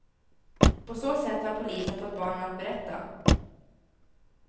På så sätt har polisen fått barnen att berätta.